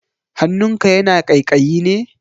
Hannunka yana ƙaiƙayi ne?